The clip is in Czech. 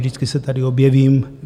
Vždycky se tady objevím.